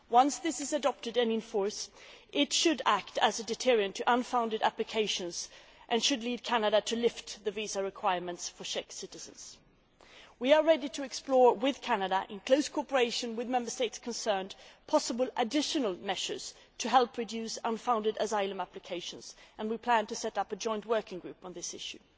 Once this is adopted and in force, it should act as a deterrent to unfounded applications and lead Canada to lift the visa requirement for Czech citizens. We are ready to explore with Canada, in close cooperation with the Member States concerned, possible additional measures to help reduce unfounded asylum applications, and we plan to set up a joint working group on this issue.